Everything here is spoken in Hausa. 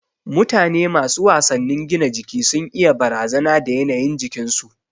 Mutane masu wasannin gina jiki sun iya barazana da yanayin jikin su